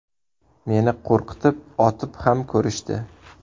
Meni qo‘rqitib otib ham ko‘rishdi.